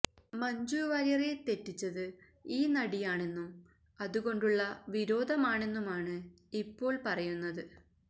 മഞ്ജു വാര്യരെ തെറ്റിച്ചത് ഈ നടിയാണെന്നും അതുകൊണ്ടുള്ള വിരോധമാണെന്നുമാണ് ഇപ്പോള് പറയുന്നത്